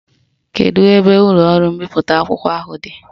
Kedu ebe ụlọọrụ mbipụta akwụkwọ ahụ dị?